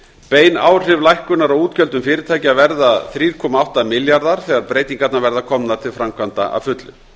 bein áhrif til lækkunar á útgjöldum fyrirtækja verða þrjú komma átta milljarðar þegar breytingarnar verða komnar til framkvæmda að fullu